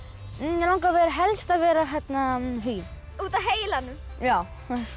mig langar helst að vera Huginn út af heilanum já